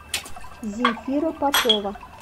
земфира попова